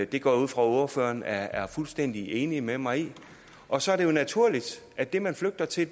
det går jeg ud fra ordføreren er er fuldstændig enig med mig i og så er det jo naturligt at det man flygter til